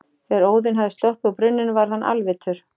Þegar Óðinn hafði sopið úr brunninum varð hann alvitur.